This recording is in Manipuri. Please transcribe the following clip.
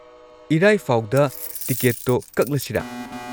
ꯏꯔꯥꯏ ꯐꯥꯎꯗ ꯇꯤꯀꯦꯠꯇꯣ ꯀꯛꯂꯁꯤꯔꯥ?